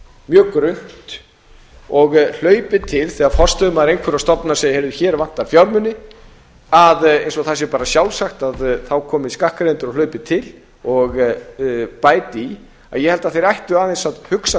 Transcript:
mjög grunnt og hlaupið til þegar forstöðumaður einhverrar stofnunar segir hér vantar fjármuni eins og það sé bara sjálfsagt að þá komi skattgreiðendur og hlaupi til og bæti í ég held að þeir ættu aðeins að hugsa